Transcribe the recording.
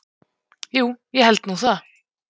Jú, ég held nú það.